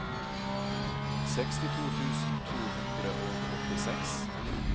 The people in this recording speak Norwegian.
sekstito tusen to hundre og åttiseks